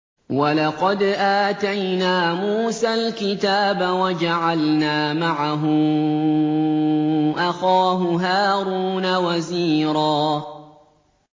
وَلَقَدْ آتَيْنَا مُوسَى الْكِتَابَ وَجَعَلْنَا مَعَهُ أَخَاهُ هَارُونَ وَزِيرًا